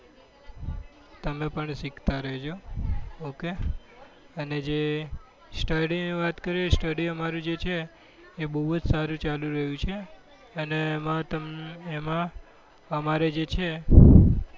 તમે પણ સીખતા રેજો ok અને જે study વાત કરીએ study અમારું જે છે એ બઉ જ સારું ચાલી રહ્યું છે અને એમાં તમ એમાં અમારે જ છે